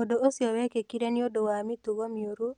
Ũndũ ũcio wekĩkire nĩ ũndũ wa mĩtugo mĩũru,